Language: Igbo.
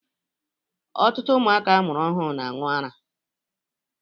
Ọtụtụ ụmụaka amụrụ ọhụrụ na-aṅụ ara.